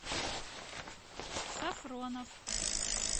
сафронов